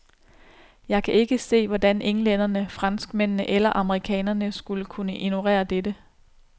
Jeg kan ikke se, hvordan englænderne, franskmændene eller amerikanerne skulle kunne ignorere dette.